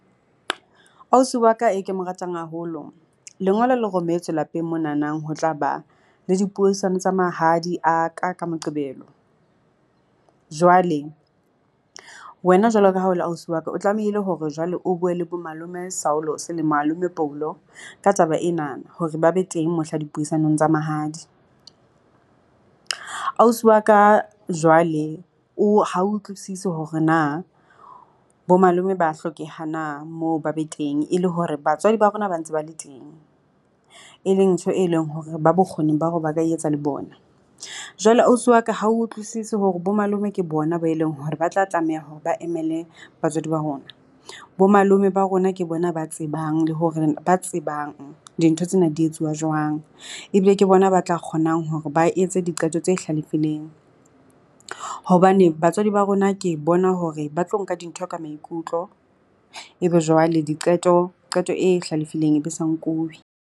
Ausi wa ka e ke mo ratang haholo, lengolo le rometswe lapeng moo nanang ho tla ba le dipuisano tsa mahadi a ka ka Moqebelo. Jwale wena jwalo ka ha o le ausi wa ka, o tlamehile hore jwale o bue le bo malome Saolotse la malome Poulo ka taba ena hore ba be teng mohla dipuisanong tsa mahadi. Ausi wa ka, jwale o ha utlwisise hore na bo malome ba hlokeha na moo ba be teng, e le hore batswadi ba rona ba ntse ba le teng, e leng ntho e leng hore ba bokgoning ba hore ba ka e etsa le bona. Jwale ausi wa ka ha a utlwisise hore bo malome ke bona ba e leng hore ba tla tlameha hore ba emele batswadi ba rona bo malome ba rona, ke bona ba tsebang le hore ba tsebang dintho tsena di etsuwa jwang. Ebile ke bona ba tla kgonang hore ba etse diqeto tse hlalefileng hobane batswadi ba rona ke bona hore ba tlo nka dintho ka maikutlo ebe jwale diqeto, qeto e hlalefileng e be sa nkuwe.